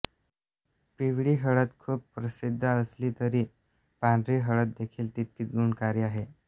पिवळी हळद खूप प्रसिद्ध असली तरी पांढरी हळददेखील तितकीच गुणकारी आहे